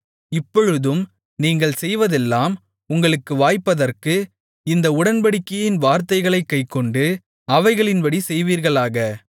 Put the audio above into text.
இப்பொழுதும் நீங்கள் செய்வதெல்லாம் உங்களுக்கு வாய்ப்பதற்கு இந்த உடன்படிக்கையின் வார்த்தைகளைக் கைக்கொண்டு அவைகளின்படி செய்வீர்களாக